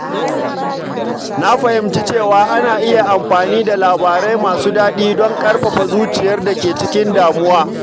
Na fahimci cewa ana iya amfani da labarai masu daɗi don ƙarfafa zuciyar da ke cikin damuwa